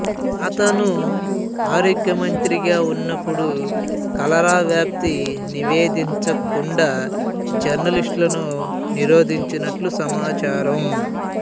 అతను ఆరోగ్య మంత్రిగా ఉన్నప్పుడు కలరా వ్యాప్తి నివేదించకుండా జర్నలిస్టులను నిరోధించినట్లు సమాచారం